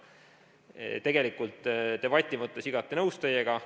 Tegelikult debati mõttes olen igati nõus teiega.